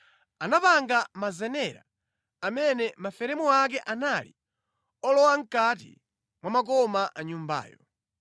Anapanga mazenera amene maferemu ake anali olowa mʼkati mwa makoma a Nyumbayo.